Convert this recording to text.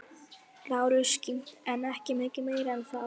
Lárus kímdi en ekki mikið meira en það.